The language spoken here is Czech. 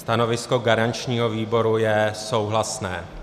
Stanovisko garančního výboru je souhlasné.